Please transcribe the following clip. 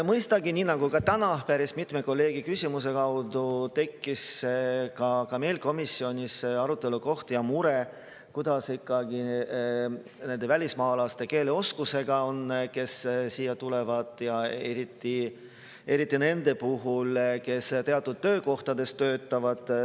Mõistagi, nii nagu täna päris mitme kolleegi küsimuse kaudu, tekkis ka meil komisjonis arutelukoht ja mure, kuidas on ikkagi nende välismaalaste keeleoskusega, kes siia tulevad, ja eriti nende puhul, kes teatud töökohtades töötavad.